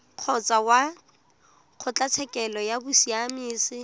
kgotsa kwa kgotlatshekelo ya bosiamisi